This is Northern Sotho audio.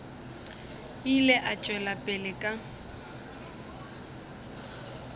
ile a tšwela pele ka